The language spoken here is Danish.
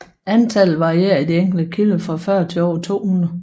Antallet varierer i de enkelte kilder fra 40 til over 200